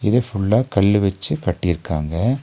இத ஃபுல்லா கல்லு வச்சி கட்டிருக்காங்க.